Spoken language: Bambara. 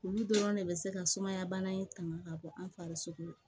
Olu dɔrɔn de bɛ se ka sumaya bana in tanga ka bɔ an farisoko